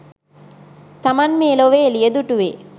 තමන් මේ ලොවේ එළිය දුටුවේ